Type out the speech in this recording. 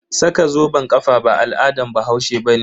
Saka zoben kafa ba al'adan bahaushe bane.